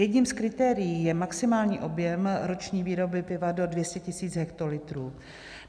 Jedním z kritérií je maximální objem roční výroby piva do 200 000 hektolitrů.